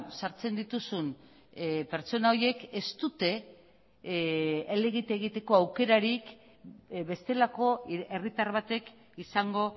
sartzen dituzun pertsona horiek ez dute elegite egiteko aukerarik bestelako herritar batek izango